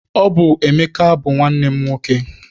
Ọ bụ Emeka bụ nwanne m nwoke.